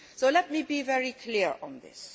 Let me be very clear on this.